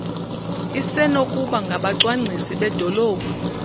isenokuba ngabacwangcisi bedolophu